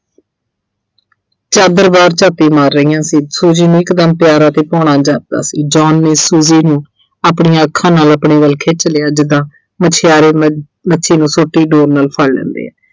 ਝਾਤੀ ਮਾਰ ਰਹੀਆਂ ਸੀ Suji ਨੂੰ ਇਕਦਮ ਪਿਆਰਾ ਅਤੇ ਭਾਉਣਾ ਜਾਪਦਾ ਸੀ John ਨੇ Suji ਨੂੰ ਆਪਣੀਆਂ ਅੱਖਾਂ ਨਾਲ ਆਪਣੇ ਵੱਲ ਖਿੱਚ ਲਿਆ ਜਿੱਦਾਂ ਮਛਿਆਰੇ ਅਹ ਮੱਛੀ ਨੂੰ ਸੂਤੀ ਡੋਰ ਨਾਲ ਫੜ ਲੈਂਦੇ ਆ।